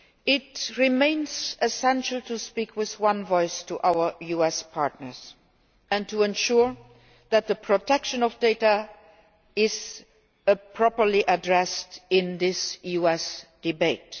It remains essential to speak with one voice to our US partners and to ensure that the protection of data is properly addressed in this US debate.